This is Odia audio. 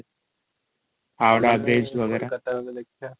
howrah bridge ବଗେରା କୋଲକାତା ଗଲେ ଦେଖିଆ ।